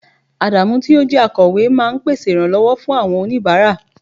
Adamu yi o je akowe ma n pèsè iranlowo fún awọn onibara